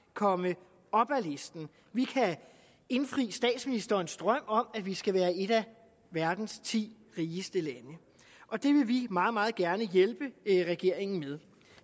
komme op ad listen vi kan indfri statsministerens drøm om at vi skal være et af verdens ti rigeste lande og det vil vi meget meget gerne hjælpe regeringen med